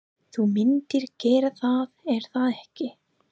Þú myndir gera það, er það ekki?